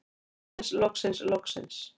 Loksins loksins loksins.